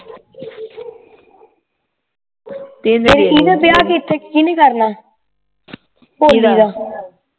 ਕਿੰਨੇ ਵਿਆਹ ਕੀਤੇ ਕਿੰਨੇ ਕਰਨਾ ਭੋਲੀ ਦਾ